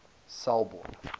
selborne